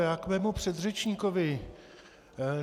Já k svému předřečníkovi.